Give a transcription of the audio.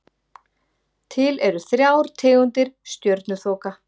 Til eru þrjár tegundir stjörnuþoka.